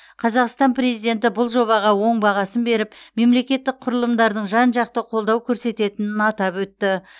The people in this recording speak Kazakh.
қазақстан президенті бұл жобаға оң бағасын беріп мемлекеттік құрылымдардың жан жақты қолдау көрсететінін атап өтті